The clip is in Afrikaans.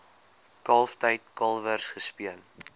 kalftyd kalwers gespeen